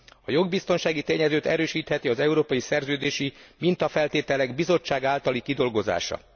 A jogbiztonsági tényezőt erősítheti az európai szerződési mintafeltételek Bizottság általi kidolgozása.